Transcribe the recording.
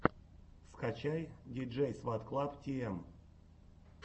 скачай диджейсватклабтиэм